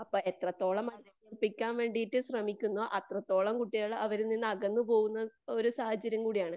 അപ്പൊ എത്രത്തോളം അനുസരിപ്പിക്കാൻ വേണ്ടീട്ട് ശ്രെമിക്കുന്നോ അത്രത്തോളം കുട്ടികൾ അവരിൽ നിന്ന് അകന്ന് പോവുന്നൊരു സാഹചര്യം കൂടിയാണ്.